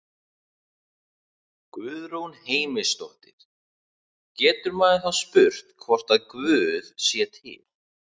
Guðrún Heimisdóttir: Getur maður þá spurt hvort að Guð sé til?